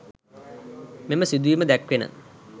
මෙම සිදුවීම දැක්වෙන